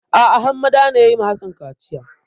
A'a Hammada ne ya yi wa Hassan kaciya.